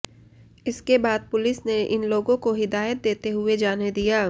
इसके बाद पुलिस ने इन लोगों को हिदायत देते हुए जाने दिया